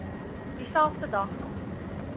dieselfde dag nog